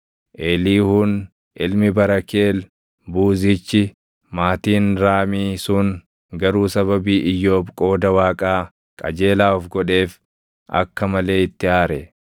Eliihuun ilmi Barakeel Buuzichi maatiin Raamii sun garuu sababii Iyyoob qooda Waaqaa qajeelaa of godheef akka malee itti aare.